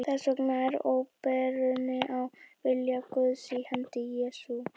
Þess vegna er opinberunin á vilja Guðs í hendi Jesú.